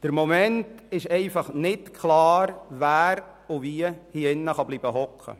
Im Moment ist es einfach nicht klar, wer hier drinnen sitzen bleiben kann.